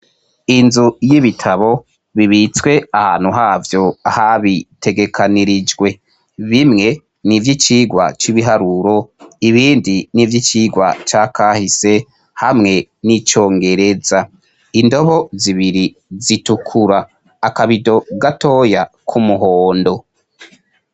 Inzu y'ibitabo bibitswe ahantu havyo habitegekanirijwe. Bimwe nivy'icigwa c'ibiharuro ibindi n'ivy'icigwa c'akahise hamwe n'icongereza. Indobo zibiri zitukura. Akabido gatoya k'umuhondo.